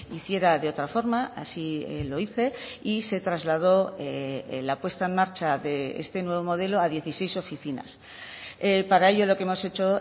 hiciera de otra forma así lo hice y se trasladó la puesta en marcha de este nuevo modelo a dieciséis oficinas para ello lo que hemos hecho